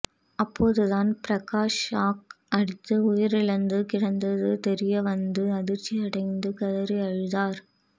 அப்போதுதான் பிரகாஷ் ஷாக் அடித்து உயிரிழந்து கிடந்தது தெரிய வந்து அதிர்ச்சியடைந்து கதறி அழுதார்